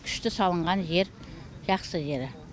күшті салынған жер жақсы жері